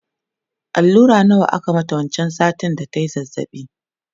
allura nawa aka mata wancan satin da tayi zazzabi?